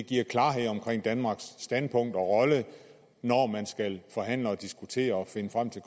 giver klarhed om danmarks standpunkt og rolle når man skal forhandle og diskutere og finde frem til